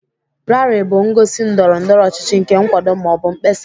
Rali bụ ngosi ndọrọ ndọrọ ọchịchị nke nkwado ma ọ bụ mkpesa